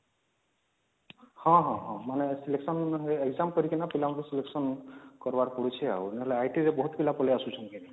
ହଁ ହଁ ହଁ ମାନେ selection exam କରିକିନା ପିଲାଙ୍କୁ selection କରିବାର ପଡୁଛି ନହେଲେ ITରେ ବହୁତ ପିଲା ପଲି ଆସୁଛନ୍ତି କି ନାଇଁ